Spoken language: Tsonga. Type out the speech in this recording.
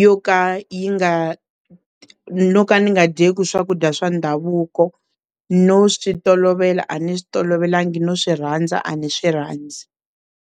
yo ka yi nga no ka ni nga dyeki swakudya swa ndhavuko no swi tolovela a ni tolovelanga no swi rhandza a ni swi rhandzi.